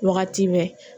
Wagati bɛɛ